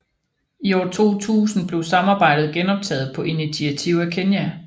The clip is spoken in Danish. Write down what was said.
I år 2000 blev samarbejdet genoptaget på initiativ af Kenya